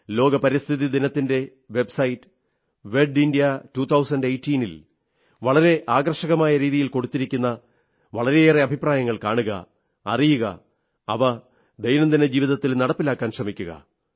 ലോക പരിസ്ഥിതി ദിനത്തിന്റെ വെബ്സൈറ്റ് wedindia2018 ൽ വളരെ ആകർഷകമായ രീതിയിൽ കൊടുത്തിരിക്കുന്ന വളരെയേറെ അഭിപ്രായങ്ങൾ കാണുക അറിയുക അവ ദൈനംദിന ജീവത്തിൽ നടപ്പിലാക്കാൻ ശ്രമിക്കുക